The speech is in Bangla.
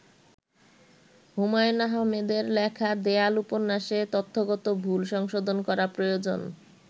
হুমায়ূন আহমেদের লেখা দেয়াল উপন্যাসে তথ্যগত ভুল সংশোধন করা প্রয়োজন।